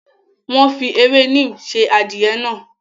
Wọ́n fi ewé neem sè adìẹ náà.